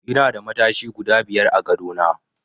Ina da matashi guda biyar a gadona.